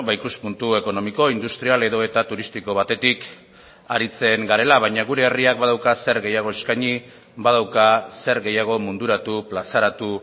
ikuspuntu ekonomiko industrial edota turistiko batetik aritzen garela baina gure herriak badauka zer gehiago eskaini badauka zer gehiago munduratu plazaratu